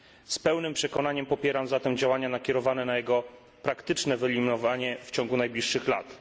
Z pełnym przekonaniem popieram zatem działania nakierowane na jego praktyczne wyeliminowanie w ciągu najbliższych lat.